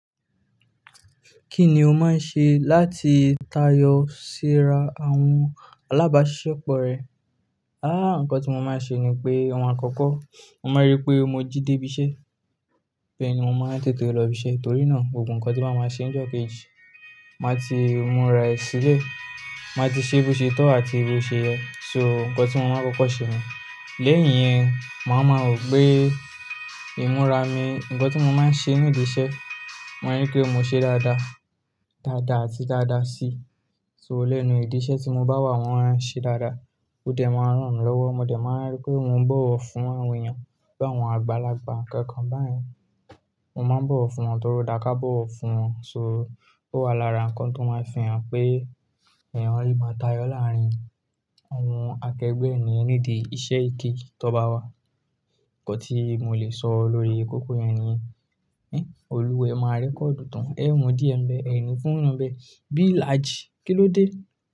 Kí ni o máa ń ṣe láti tayọ síra àwọn alábáṣiṣẹ́ pọ rẹ? Àh, nǹkan tí mo máa ń ṣe ni pé, ohun àkọ́kọ́, mo máa rí pé mo jíde ibiṣẹ́. Bẹ́ẹ̀ ni mo máa tètè lọ ibiṣẹ́. Torí náà, gbogbo nǹkan tí n bá máa ṣe ní ọjọ́ kejì, màá ti múra ẹ sílẹ̀. Màá ti ṣe bí ó ṣe tọ́ àti bí ó ṣe yẹ. So nǹkan tí mo máa ń kọ́kọ́ ṣe niyen. Lẹ́yìn yẹn, màá ma wo pé ìmúra mi, ǹkan tí mo máa ń ṣe nídíṣẹ́, maa ri pé mo ṣe dáadáa, dáadáa àti dáadáa si. So lẹ́nu ìdí iṣẹ́ tí mo bá wà, mo máa ń ṣe dáadáa. Ó dẹ̀ máa ń ràn mí lọ́wọ́. Mo dẹ̀ máa n rí pé mo ń bọ̀wọ̀ fún àwọn èèyàn, bi àwọn àgbàlagbà nkankan bá yẹn. Mo máa ń bọ̀wọ̀ fún wọn torí ó dáa ká bọ̀wọ̀ fún wọn. So ó wa lára nǹkan tó máa ń fihan pé èèyàn lè máa tayọ láàárín àwọn akẹgbẹ́ ní ìdí iṣẹ́ kejì tó bá wà. Ǹnkan tí mo lè sọ lóríi kóko yẹn niyen. Èhn, olúwa e máa rẹ́kóòdù tan, é mú díẹ̀ mbẹ, ẹni fún yan mbẹ. Bí ìlàjì, kí ló dé?